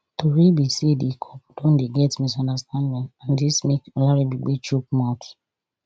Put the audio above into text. tori be say di couple don dey get misunderstanding and dis make olaribigbe chook mouth